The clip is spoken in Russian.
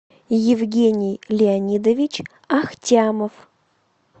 евгений леонидович ахтямов